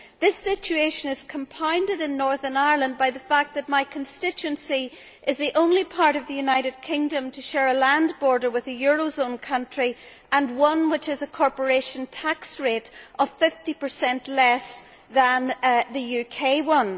This situation is compounded in Northern Ireland by the fact that my constituency is the only part of the United Kingdom to share a land border with a euro zone country, and one which has a corporation tax rate of 50 less than the UK one.